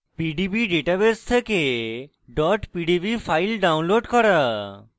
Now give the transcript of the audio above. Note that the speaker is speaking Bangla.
pdb ডাটাবেস থেকে pdb files download করা